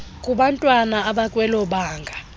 kubantwana abakwelo banga